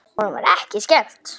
Honum var ekki skemmt.